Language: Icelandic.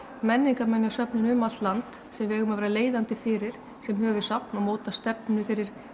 menningarminjasöfnin um allt land sem við eigum að vera leiðandi fyrir sem höfuðsafn og móta stefnu fyrir